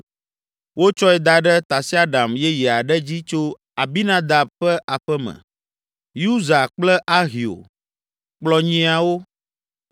Wotsɔe da ɖe tasiaɖam yeye aɖe dzi tso Abinadab ƒe aƒe me. Uza kple Ahio kplɔ nyiawo.